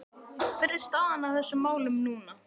Hver er staðan á þessum málum núna?